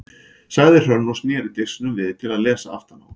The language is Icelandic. sagði Hrönn og sneri disknum við til að lesa aftan á hann.